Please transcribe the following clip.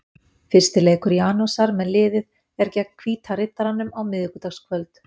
Fyrsti leikur Janusar með liðið er gegn Hvíta Riddaranum á miðvikudagskvöld.